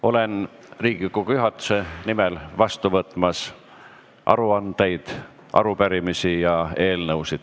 Olen Riigikogu juhatuse nimel valmis vastu võtma aruandeid, arupärimisi ja eelnõusid.